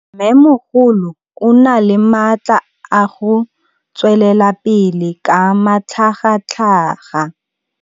Mmêmogolo o na le matla a go tswelela pele ka matlhagatlhaga.